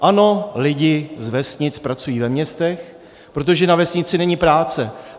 Ano, lidi z vesnic pracují ve městech, protože na vesnici není práce.